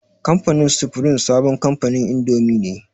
Kamfanin sufrim sabon kamfanin indomi ne.